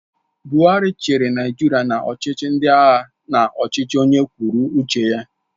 Buhari chịrị Naijiria na ọchịchị ndị agha na ọchịchị onye kwụrụ uche ya.